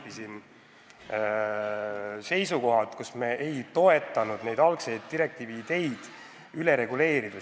Jõudsime seisukohale mitte toetada kõiki algseid direktiivi ideid – me ei tahtnud üle reguleerida.